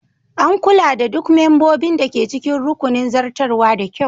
An kula da duk membobin da ke cikin rukunin zartarwa da kyau